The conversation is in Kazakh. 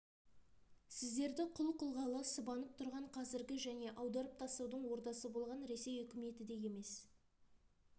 сіздерді құл қылғалы сыбанып тұрған қазіргі және аударып тастаудың ордасы болған ресей үкіметі де емес